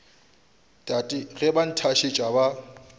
tate ge ba nthasetša ba